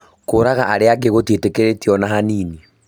Kũraga arĩa angĩ gũtiĩtĩkĩritio ona hanini